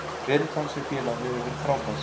Ferill hans hjá félaginu hefur verið frábær.